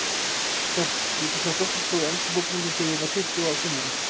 Ég tók þar doktorspróf í enskum bókmenntum, þegar ég var tuttugu og fimm ára.